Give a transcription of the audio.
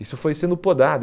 Isso foi sendo podado.